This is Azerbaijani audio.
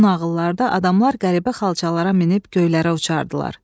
Bu nağıllarda adamlar qəribə xalçalara minib göylərə uçardılar.